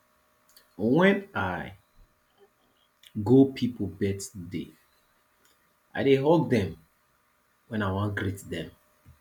wen i go pipo birthday i dey hug dem wen i wan greet dem